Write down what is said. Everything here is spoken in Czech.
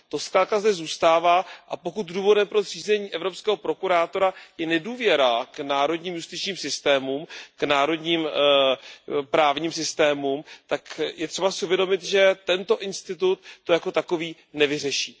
To zkrátka zde zůstává, a pokud důvodem pro zřízení evropského prokurátora je nedůvěra k národním justičním systémům, k národním právním systémům, tak je třeba si uvědomit, že tento institut to jako takový nevyřeší.